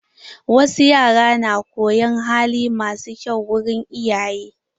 Wasu yara na koyon hali masu kyau wurin iyaye.